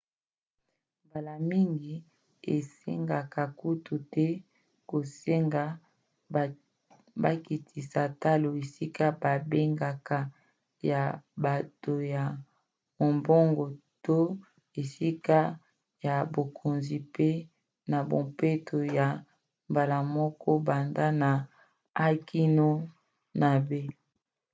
mbala mingi esengaka kutu te kosenga bakitisa talo esika babengaka ya bato ya mombongo to na esika ya bokonzi pa na bampepo ya mbala moko banda na a kino na b